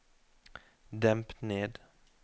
demp ned